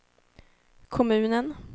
kommunen